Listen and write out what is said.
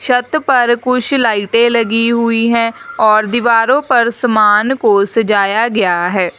छत पर कुछ लाइटें लगी हुई हैं और दीवारों पर सामान को सजाया गया है।